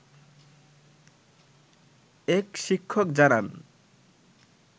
এক শিক্ষক জানান